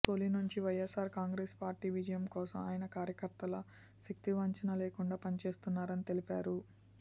తొలి నుంచి YSR Congress party విజయం కోసం ఆయన కార్యకర్తలా శక్తివంచన లేకుండా పని చేస్తున్నారని తెలిపారు